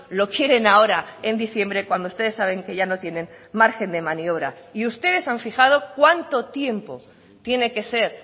lo quieren ahora en diciembre cuando ustedes saben que ya no tienen margen de maniobra y ustedes han fijado cuánto tiempo tiene que ser